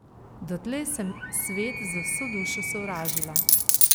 Dotlej sem svet z vso dušo sovražila.